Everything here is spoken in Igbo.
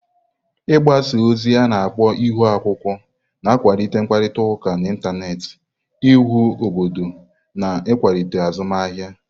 Gbaza ozi a-na akpo Ihu-akwukwuo na-akwalite ịkparịta ụka n'Ịntanet, íwu obodo na nkwalite azụmahịa.